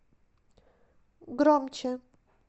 громче